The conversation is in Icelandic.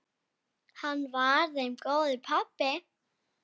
Hann var þeim góður pabbi.